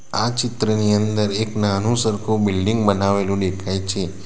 આ ચિત્રની અંદર એક નાનું સરખું બિલ્ડીંગ બનાવેલું દેખાય છે.